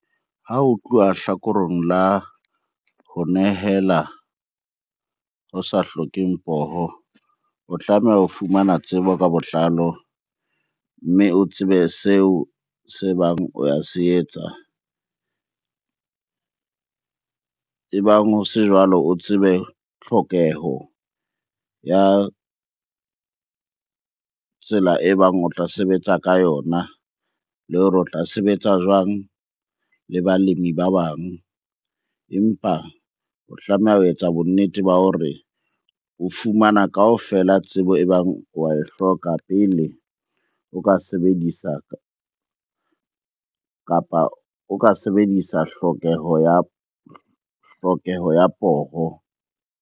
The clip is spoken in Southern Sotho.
Ha ho tluwa hlakoreng la ho nehela ho sa hlokeng poho, o tlameha ho fumana tsebo ka botlalo mme o tsebe seo se bang o ya se etsa. Ebang ho se jwalo, o tsebe tlhokeho ya tsela e bang o tla sebetsa ka yona le hore o tla sebetsa jwang le balemi ba bang? Empa o tlameha ho etsa bonnete ba hore o fumana kaofela tsebo e bang wa e hloka pele o ka sebedisa, kapa o ka sebedisa hlokeho ya, hlokeho ya poho.